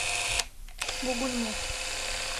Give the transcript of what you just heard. бугульму